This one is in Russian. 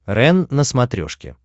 рен на смотрешке